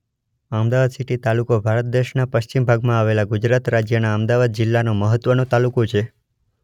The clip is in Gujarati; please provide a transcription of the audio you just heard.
અમદાવાદ સીટી તાલુકો ભારત દેશના પશ્ચિમ ભાગમાં આવેલા ગુજરાત રાજ્યના અમદાવાદ જિલ્લાનો મહત્વનો તાલુકો છે.